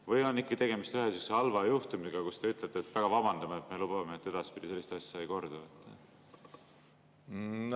Või on siiski tegemist ühe sellise halva juhtumiga ja te ütlete: "Me väga vabandame ja lubame, et edaspidi sellised asjad ei kordu"?